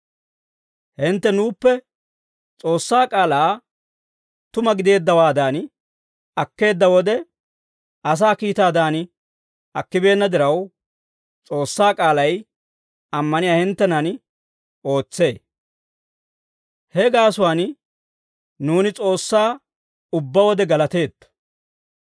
Hintte nuuppe S'oossaa k'aalaa tuma gideeddawaadan akkeedda wode, S'oossaa kiitaadan akkeeddawaappe attin, asaa kiitaadan akkibeenna diraw, S'oossaa k'aalay ammaniyaa hinttenan ootsee; he gaasuwaan nuuni S'oossaa ubbaa wode galateetto.